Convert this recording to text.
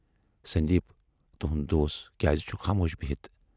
سندیپ تُہٕنز دوس کیازِ چھِ خاموش بِہِتھ؟